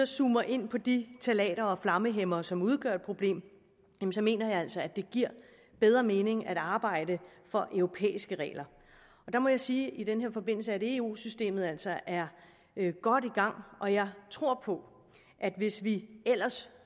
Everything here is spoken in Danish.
zoomer ind på de ftalater og flammehæmmere som udgør et problem mener jeg altså at det giver bedre mening at arbejde for europæiske regler og der må jeg sige i den her forbindelse at eu systemet altså er godt i gang og jeg tror at hvis vi ellers